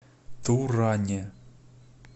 туране